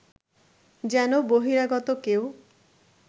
যেন বহিরাগত কেউ